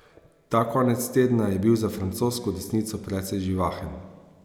Ta konec tedna je bil za francosko desnico precej živahen.